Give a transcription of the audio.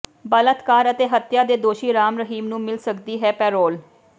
ਬਲਾਤਕਾਰ ਅਤੇ ਹੱਤਿਆ ਦੇ ਦੋਸ਼ੀ ਰਾਮ ਰਹੀਮ ਨੂੰ ਮਿਲ ਸਕਦੀ ਹੈ ਪੈਰੋਲ